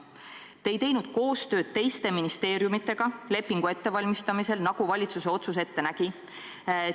Te ei teinud koostööd teiste ministeeriumidega lepingu ettevalmistamisel, nagu valitsuse otsus ette nägi.